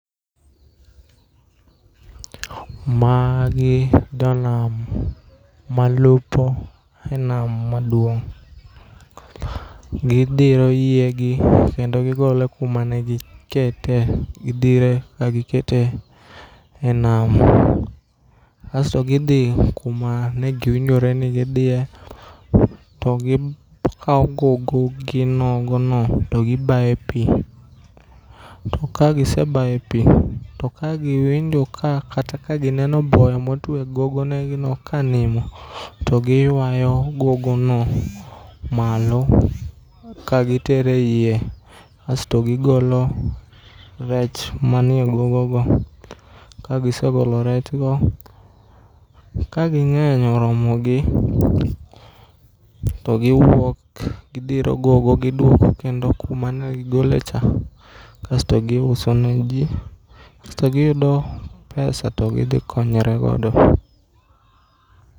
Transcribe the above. Magi jonam malupo e nam maduong'. Gidhiro yiegi kendo gigolo kuma ne gikete. Gidhire ka gikete e nam asto gidhi kuma negiwinjore ni gidhie to gikawo gogo gi nogono to gibaye e pi. To kagisebayo e pi, to ka giwinjo ka kata ka gineno ball motuwe e gogo gino ka nimo, to giywayo gogo no malo, kagi tero e iye asto gigolo rech manie gogo go. Kagisegolo rechgo, kaging'eny, oromogi, to giwuok gidhiro gogo gidwoko kendo kuma ne gigolecha, kasto giuso ne ji, kasto giyudo pesa to gidhi konyre godo.